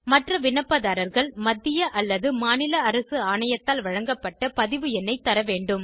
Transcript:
மற்ற விண்ணப்பதாரர்கள் மத்திய அல்லது மாநில அரசு ஆணையத்தால் வழங்கப்பட்ட பதிவு எண்ணைக் தரவேண்டும்